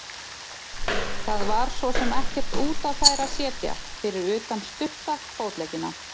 Það var svo sem ekkert út á þær að setja fyrir utan stutta fótleggina.